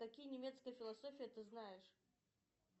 какие немецкие философии ты знаешь